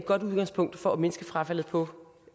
godt udgangspunkt for at mindske frafaldet på